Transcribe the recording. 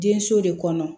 Den so de kɔnɔ